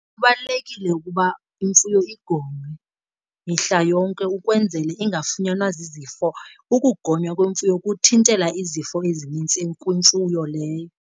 Kubalulekile ukuba imfuyo igonywe mihla yonke ukwenzele ingafunyanwa zizifo, ukugonywa kwemfuyo kuthintela izifo ezinintsi kwimfuyo leyo.